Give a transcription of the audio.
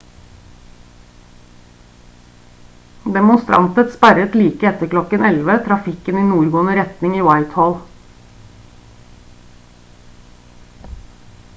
demonstranter sperret like etter klokken 11:00 trafikken i nordgående retning i whitehall